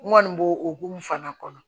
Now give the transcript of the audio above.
N kɔni b'o o hokumu fana kɔnɔ